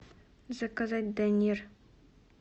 заказать данир